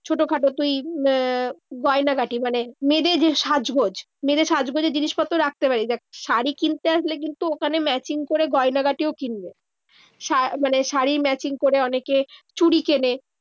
ছোটোখাটো তুই আহ গয়নাগাটি মানে মেয়েদের যে সাজগোজ, মেয়েদের সাজগোজের জিনিসপত্র রাখতে পারিস। দেখ, শাড়ি কিনতে আসলে কিন্তু ওখানে matching করে গয়নাগাঁটিও কিনবে। শা মানে শাড়ি matching করে অনেকে চুরি কেনে।